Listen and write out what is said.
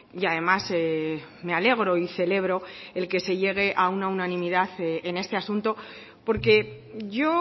y además me alegro y celebro el que se llegue a una unanimidad en este asunto porque yo